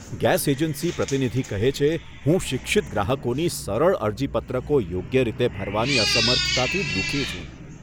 Gas agency પ્રતિનિધિ કહે છે, હું શિક્ષિત ગ્રાહકોની સરળ અરજીપત્રકો યોગ્ય રીતે ભરવાની અસમર્થતાથી દુઃખી છું.